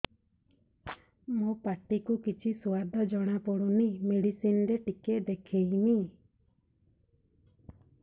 ମୋ ପାଟି କୁ କିଛି ସୁଆଦ ଜଣାପଡ଼ୁନି ମେଡିସିନ ରେ ଟିକେ ଦେଖେଇମି